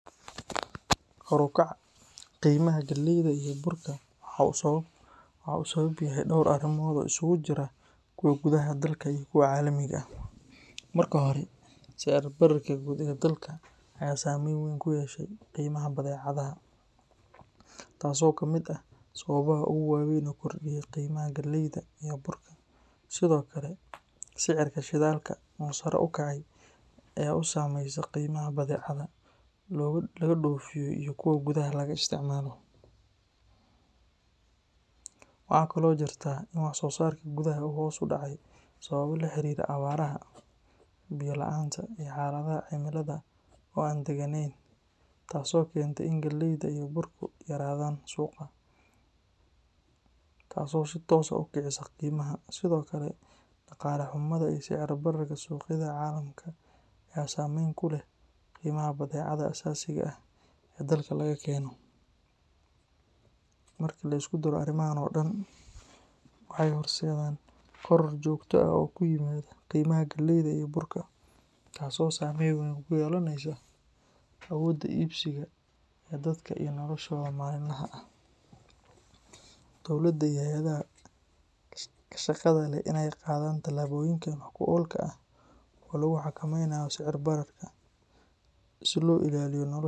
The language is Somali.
Kor u kaca qimaha galeyda iyo burka waxa uu sabab u yahay dhowr arrimood oo isugu jira kuwa gudaha dalka iyo kuwa caalamiga ah. Marka hore, sicir-bararka guud ee dalka ayaa saameyn weyn ku yeeshay qiimaha badeecadaha, taasoo ka mid ah sababaha ugu waaweyn ee kordhiyey qiimaha galeyda iyo burka. Sidoo kale, sicirka shidaalka oo sare u kacay ayaa kordhiyey kharashka gaadiidka iyo keenista badeecadaha, taasoo si toos ah u saameysa qiimaha badeecadaha laga dhoofiyo iyo kuwa gudaha laga isticmaalo. Waxa kale oo jirta in wax-soo-saarka gudaha uu hoos u dhacay sababo la xiriira abaaraha, biyo la’aanta, iyo xaaladaha cimilada oo aan degganeyn, taas oo keentay in galeyda iyo burku yaraadaan suuqa, taas oo si toos ah u kicisa qiimaha. Sidoo kale, dhaqaale xumada iyo sicir bararka suuqyada caalamka ayaa saameyn ku leh qiimaha badeecadaha aasaasiga ah ee dalka laga keeno. Marka la isku daro arrimahan oo dhan, waxay horseedaan koror joogto ah oo ku yimaada qiimaha galeyda iyo burka, taas oo saameyn weyn ku yeelanaysa awoodda iibsiga ee dadka iyo noloshooda maalinlaha ah. Dowladda iyo hay’adaha ku shaqada leh waa in ay qaadaan tallaabooyin wax ku ool ah oo lagu xakameynayo sicir bararka si loo ilaaliyo nolosha.